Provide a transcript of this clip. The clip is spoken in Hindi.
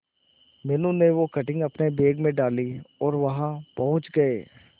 मीनू ने वो कटिंग अपने बैग में डाली और वहां पहुंच गए